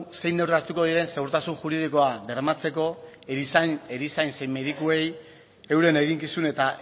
zein neurri hartuko diren segurtasun juridikoa bermatzeko erizain zein medikuei euren eginkizun eta